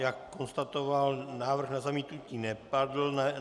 Jak konstatoval, návrh na zamítnutí nepadl.